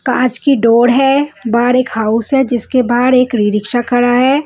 कांच की डोर है बाहर एक हाउस है जिसके बाहर एक रीक्षा खड़ा है।